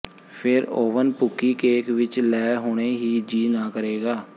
ਫਿਰ ਓਵਨ ਭੁੱਕੀ ਕੇਕ ਵਿਚ ਲੈ ਹੁਣੇ ਹੀ ਜੀਅ ਨਾ ਕਰੇਗਾ